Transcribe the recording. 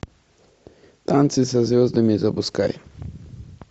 танцы со звездами запускай